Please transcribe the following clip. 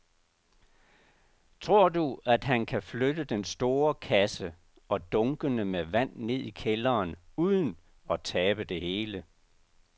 Tror du, at han kan flytte den store kasse og dunkene med vand ned i kælderen uden at tabe det hele?